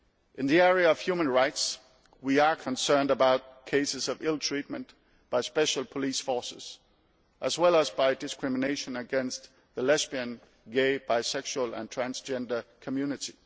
In the area of human rights, we are concerned about cases of ill treatment by special police forces as well as discrimination against the lesbian, gay, bi sexual and transgender community.